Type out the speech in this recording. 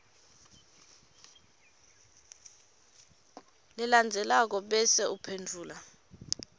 lelandzelako bese uphendvula